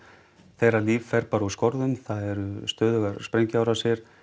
þeirra líf fer bara úr skorðum það eru sprengjuárásir